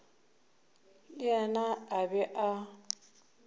le yena a be a